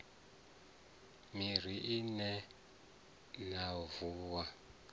miri i re mavuni o